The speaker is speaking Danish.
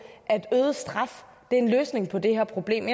at øget straf er en løsning på det her problem